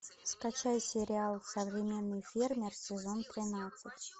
скачай сериал современный фермер сезон тринадцать